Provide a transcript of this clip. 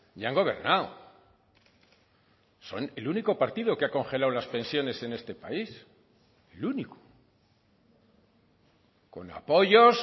y han gobernado son el único partido que ha congelado las pensiones en este país el único con apoyos